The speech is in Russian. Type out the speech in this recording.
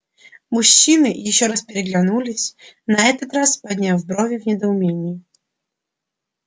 мужчины ещё раз переглянулись на этот раз подняв брови в недоумении